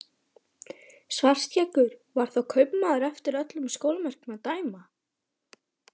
Svartskeggur var þá kaupmaður eftir öllum sólarmerkjum að dæma.